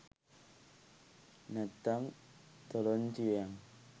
නැත්තං තොලොංචි වෙයං!